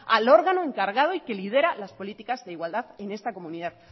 al órgano encargado y que lidera las políticas de igualdad en esta comunidad